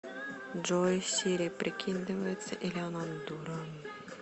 джой сири прикидывается или она дура